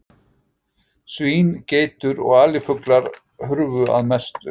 Svín, geitur og alifuglar hurfu að mestu.